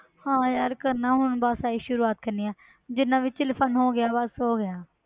ਹਾਂ ਯਾਰ ਕਰਨਾ ਹੁਣ ਬਸ ਆਹੀ ਸ਼ੁਰੂਆਤ ਕਰਨੀ ਹੈ ਜਿੰਨਾ ਵੀ chill fun ਹੋ ਗਿਆ ਬਸ ਹੋ ਗਿਆ।